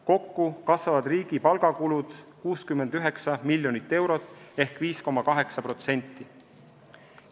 Kokku kasvavad riigi palgakulud 69 miljonit eurot ehk 5,8%.